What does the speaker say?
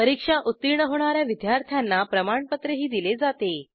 परीक्षा उत्तीर्ण होणा या विद्यार्थ्यांना प्रमाणपत्रही दिले जाते